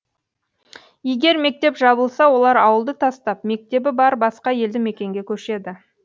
егер мектеп жабылса олар ауылды тастап мектебі бар басқа елді мекенге көшеді